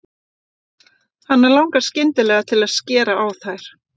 Hana langar skyndilega til að skera á þær.